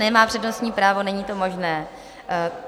Nemá přednostní právo, není to možné.